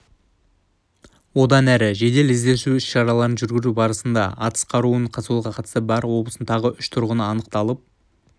одан әрі жедел-іздестіру іс-шараларын жүргізу барысында атыс қаруын сатуға қатысы бар облыстың тағы үш тұрғыны анықталып